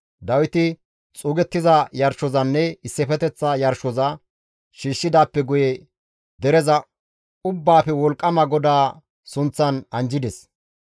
Dawiti xuugettiza yarshozanne issifeteththa yarshoza shiishshidaappe guye dereza Ubbaafe Wolqqama GODAA sunththan anjjides.